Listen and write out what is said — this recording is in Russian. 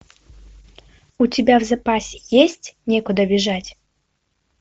у тебя в запасе есть некуда бежать